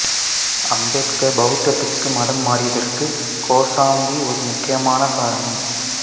அம்பேத்கார் பௌத்ததுக்கு மதம் மாறியதற்கு கோசாம்பி ஒரு முக்கியமான காரணம்